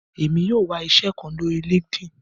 Èmi yóò wá iṣẹ kán lórí linkedin